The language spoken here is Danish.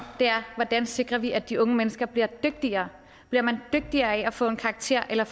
er hvordan sikrer vi at de unge mennesker bliver dygtigere bliver man dygtigere af at få en karakter eller